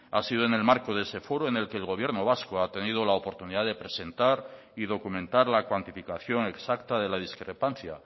ha sido en el marco de ese foro en el que el gobierno vasco ha tenido la oportunidad de presentar y documentar la cuantificación exacta de la discrepancia